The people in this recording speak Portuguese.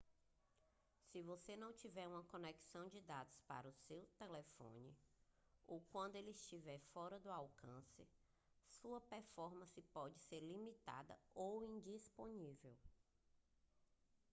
se você não tiver uma conexão de dados para o seu telefone ou quando ele estiver fora de alcance sua performance pode ser limitada ou indisponível